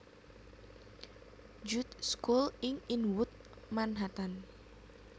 Jude School ing Inwood Manhattan